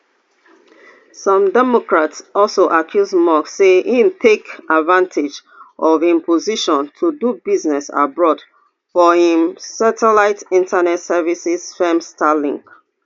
some democrats also accuse musk say e take advantage of im position to do business abroad for im satellite internet services firm starlink